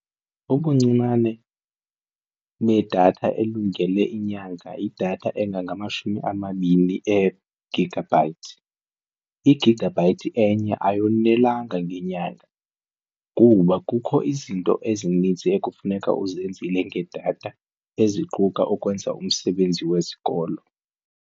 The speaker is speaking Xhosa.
Ubuncinane bedata elungele inyanga idatha engangamashumi amabini ee-gigabyte. I-gigabyte enye ayonelanga ngenyanga kuba kukho izinto ezininzi ekufuneka uzenzile ngedatha eziquka ukwenza umsebenzi wesikolo.